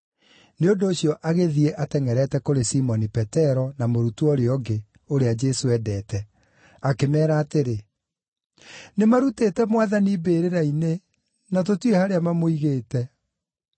Nĩ ũndũ ũcio agĩthiĩ atengʼerete kũrĩ Simoni Petero na mũrutwo ũrĩa ũngĩ, ũrĩa Jesũ endete, akĩmeera atĩrĩ, “Nĩmarutĩte Mwathani mbĩrĩra-inĩ, na tũtiũĩ harĩa mamũigĩte!”